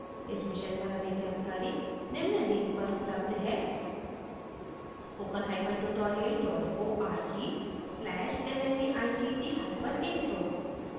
इस mission पर अधिक जानकारी निम्न लिंक पर उपलब्ध है spokentutorial org/nmeictintro